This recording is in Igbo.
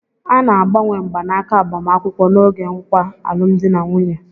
A na-agbanwe mgbanaka agbamakwụkwọ n'oge nkwa alụmdi na nwunye